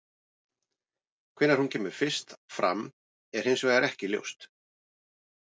Hvenær hún kemur fyrst fram er hins vegar ekki ljóst.